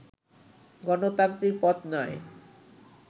গণতান্ত্রিক পথ নয়